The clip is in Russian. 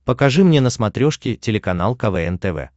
покажи мне на смотрешке телеканал квн тв